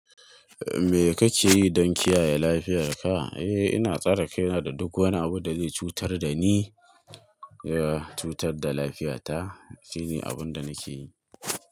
Me kake yi don kiyaye lafiyarka? Eh, ina tsare kaina da duk wani abu da zai cutar da ni. Ya cutar da lafiyata. Shine abin da nake yi.